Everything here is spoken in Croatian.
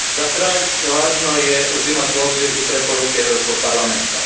Za kraj, važno je uzimati u obzir i preporuke Europskog parlamenta.